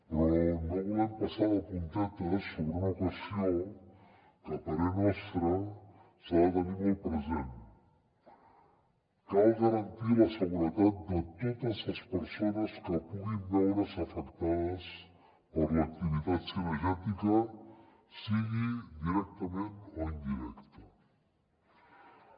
però no vo·lem passar de puntetes sobre una qüestió que a parer nostre s’ha de tenir molt pre·sent cal garantir la seguretat de totes les persones que puguin veure’s afectades per l’activitat cinegètica sigui directament o indirectament